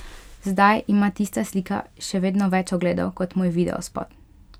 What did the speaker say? Zdaj ima tista slika še vedno več ogledov kot moj videospot.